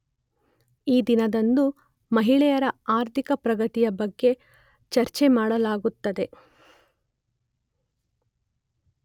ಈ ದಿನದಂದು ಮಹಿಳೆಯರ ಆರ್ಥಿಕ ಪ್ರಗತಿಯ ಬಗ್ಗೆ ಚರ್ಚ್ರೆ ಮಾಡಲಾಗುತ್ತದೆ